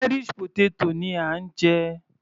Irish potato ni à ń jẹ.